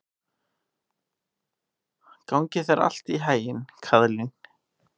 Gangi þér allt í haginn, Kaðlín.